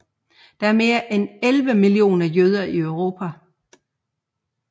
Der er mere end 11 millioner jøder i Europa